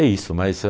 É isso, mas a